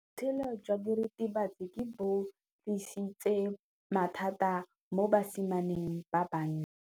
Botshelo jwa diritibatsi ke bo tlisitse mathata mo basimaneng ba bantsi.